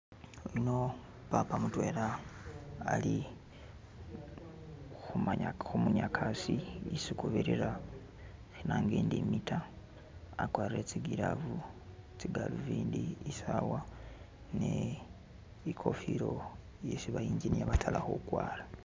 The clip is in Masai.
Yuno papa mutwela ali humanyaka humunyakasi isi kubilira henange ndi Imita akwalire tsi glove, tsi galubindi, isawa ne ikofilo isi ba engineer batela hukwara